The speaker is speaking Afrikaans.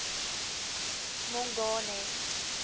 mongane